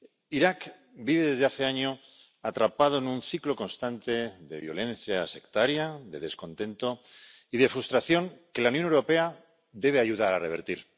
Irak vive desde hace años atrapado en un ciclo constante de violencia sectaria, de descontento y de frustración que la Unión Europea debe ayudar a revertir.